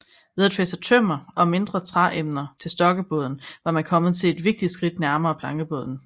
Ved at fæste tømmer og mindre træemner til stokkebåden var man kommet et vigtigt skridt nærmere plankebåden